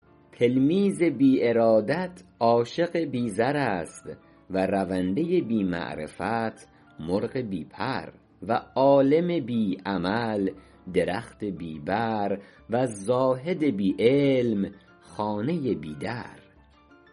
تلمیذ بی ارادت عاشق بی زر است و رونده بی معرفت مرغ بی پر و عالم بی عمل درخت بی بر و زاهد بی علم خانه بی در